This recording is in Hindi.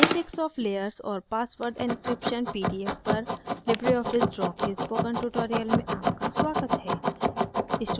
basics of layers और password encryption pdf पर libreoffice draw के spoken tutorial में आपका स्वागत है